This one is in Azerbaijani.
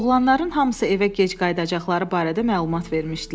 Oğlanların hamısı evə gec qayıdacaqları barədə məlumat vermişdilər.